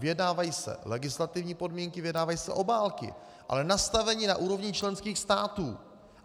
Vyjednávají se legislativní podmínky, vyjednávají se obálky, ale nastaveni na úrovni členských států.